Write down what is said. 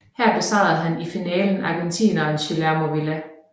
Her besejrede han i finalen argentineren Guillermo Vilas